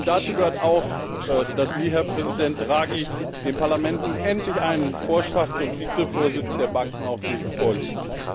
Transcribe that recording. Dazu gehört auch, dass Sie, Herr Präsident Draghi, dem Parlament nun endlich einen Vorschlag zum Vizevorsitz der Bankenaufsicht vorlegen.